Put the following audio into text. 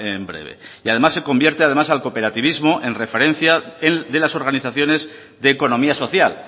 en breve y además se convierte además al cooperativismo en referencia de las organizaciones de economía social